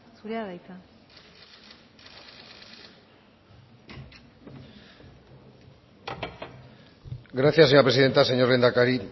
zurea da hitza gracias señora presidenta señor lehendakari